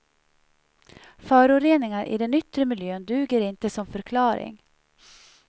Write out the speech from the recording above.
Föroreningar i den yttre miljön duger inte som förklaring.